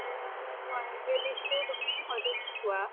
হয় হয় সেই দিশটো তুমি হয়্তো চোৱা